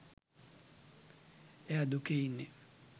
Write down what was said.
එයා දුකේ ඉන්නේ.